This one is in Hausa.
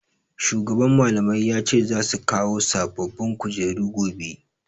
Shugaban Mallamai ya ce za su kawo sababbin kujeru gobe.